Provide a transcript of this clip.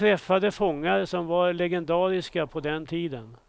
Jag träffade fångar som var legendariska på den tiden.